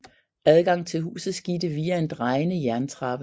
Adgang til huset skete via en drejende jerntrappe